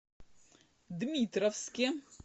дмитровске